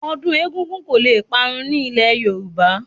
Ọdún egúngún kò le parun ní ilé Yorùbá